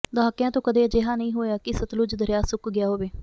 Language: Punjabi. ਦਹਾਕਿਆਂ ਤੋਂ ਕਦੇ ਅਜਿਹਾ ਨਹੀਂ ਹੋਇਆ ਕਿ ਸਤਲੁਜ ਦਰਿਆ ਸੁੱਕ ਗਿਆ ਹੋਵੇ